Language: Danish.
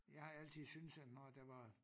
Jeg har altid syntes at når der var